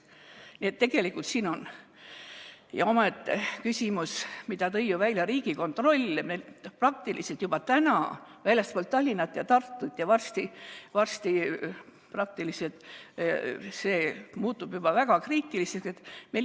Nii et tegelikult on siin omaette küsimus, mille tõi ju välja Riigikontroll, et meil praktiliselt juba nüüd väljaspool Tallinna ja Tartut ja varsti muutub see juba väga kriitiliseks.